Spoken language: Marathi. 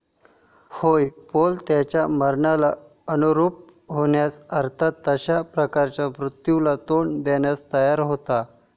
होय, पौल त्याच्या मरणाला अनुरूप होण्यास, अर्थात तशाच प्रकारच्या मृत्यूला तोंड देण्यास तयार होता.